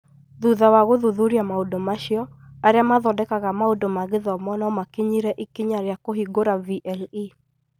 Thutha wa gũthuthuria maũndũ macio, arĩa mathondekaga maũndũ ma gĩthomo no makinyĩre ikinya rĩa kũhingũra VLE